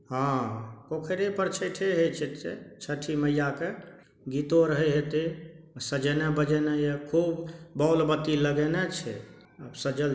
हां पोखरे पर छएठे हेय छै छठी मैया के गीतो आर हेय हेते सजेएने बजेएने ये खूब बोल बत्ती लगेएने छै आब सजल --